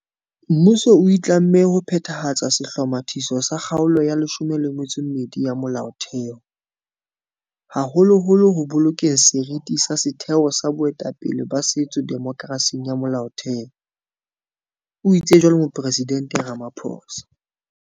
Mmuso o itlamme ho phethahatsa sehlomathiso sa Kgaolo ya 12 ya Molaothe ho, haholoholo ho bolokeng seriti sa setheo sa boetapele ba setso demokerasing ya Molaotheho, o itse jwalo Moporesidente Ramaphosa.